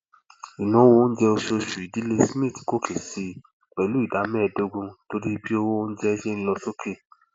ináwó oúnjẹ oṣooṣù ìdílé smith gòkè sí pẹlú ìdá mẹẹdógún torí bí owó oúnjẹ ṣe ń lọ sókè